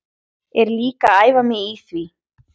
Er líka að æfa mig í því.